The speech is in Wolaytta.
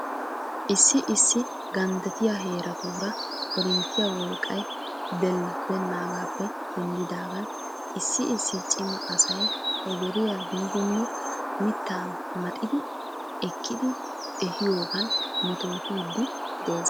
Issi issi ganddattiyaa heeratuura korinttiyaa wolqqay delibeenaagaappe denddidaagan issi issi cima asay he deriyaa biidinne mittaa maxidi ekkidi ehiyoogan metootidi des.